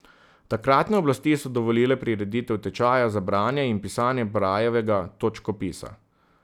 Takratne oblasti so dovolile prireditev tečaja za branje in pisanje brajevega točkopisa.